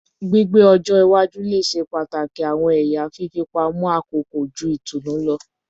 Gbigbe ọjọ iwaju le ṣe pataki awọn ẹya fifipamọ akoko ju itunu lọ